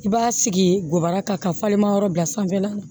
I b'a sigi gaba kan ka falenma yɔrɔ bila sanfɛla na